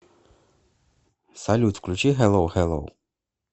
салют включи хеллоу хеллоу